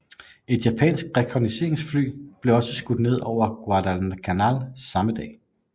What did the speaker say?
Et japansk rekognosceringsfly blev også skudt ned over Guadalcanal samme dag